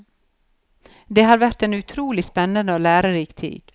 Det har vært en utrolig spennende og lærerik tid.